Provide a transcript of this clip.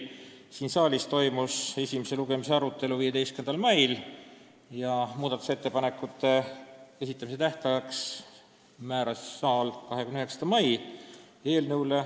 Siin saalis toimus esimese lugemise arutelu 15. mail ja muudatusettepanekute esitamise tähtajaks määras saal 29. mai.